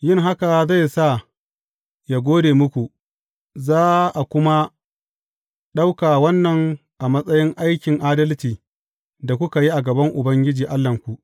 Yin haka zai sa yă gode muku, za a kuma ɗauka wannan a matsayin aikin adalci da kuka yi a gaban Ubangiji Allahnku.